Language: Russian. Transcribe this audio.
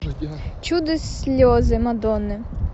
чудо слезы мадонны